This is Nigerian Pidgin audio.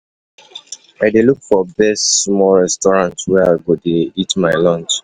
i dey look for best small restsurant where i go dey eat my lunch.